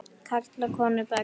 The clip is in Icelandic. Karla, konur, börn.